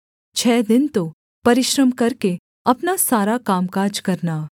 छः दिन तो परिश्रम करके अपना सारा कामकाज करना